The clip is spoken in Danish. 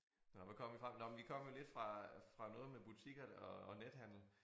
Nåh hvad kom vi fra nåh men vi kom vel lidt fra fra noget med butikker og nethandel